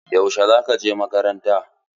Yaushe za ka je makaranta?